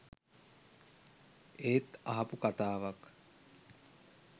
ඒත් අහපු කතාවක්